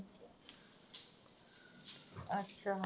ਅੱਛਾ